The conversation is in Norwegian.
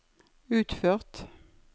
utført